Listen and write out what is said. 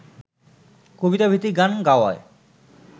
কবিতা ভিত্তিক গান গাওয়ায়